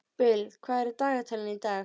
Bill, hvað er í dagatalinu í dag?